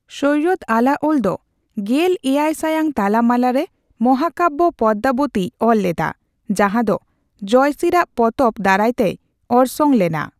ᱥᱚᱭᱚᱫ ᱟᱞᱟᱳᱞ ᱫᱚ ᱜᱮᱞ ᱮᱭᱟᱭ ᱥᱟᱭᱟᱝ ᱛᱟᱞᱟᱢᱟᱞᱟ ᱨᱮ ᱢᱟᱦᱟᱠᱟᱵᱭᱚ ᱯᱚᱫᱢᱟᱵᱚᱛᱤᱭ ᱚᱞ ᱞᱮᱫᱟ ᱡᱟᱦᱟᱸᱫᱚ ᱡᱚᱭᱥᱤᱨ ᱟᱜ ᱯᱚᱛᱚᱵ ᱫᱟᱨᱟᱭᱛᱮᱭ ᱚᱨᱥᱚᱝ ᱞᱮᱱᱟ ᱾